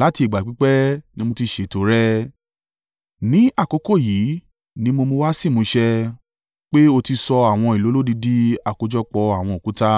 Láti ìgbà pípẹ́ ni mo ti ṣètò rẹ̀; ní àkókò yìí ni mo mú wá sí ìmúṣẹ, pé o ti sọ àwọn ìlú olódi di àkójọpọ̀ àwọn òkúta.